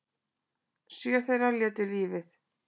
Sjö þeirra létu lífið